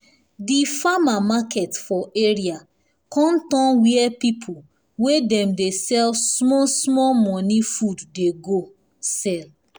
di farmer market for area con turn where people wey dem dey sell small small money food dey go sell